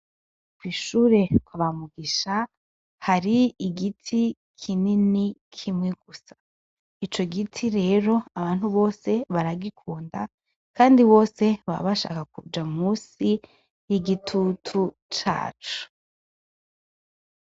Kw'ishure kwa ba Mugisha har'igiti kinini kimwe gusa, ico giti rero abantu bose baragikunda, kandi bose baba bashaka kuja musi y'igitutu caco.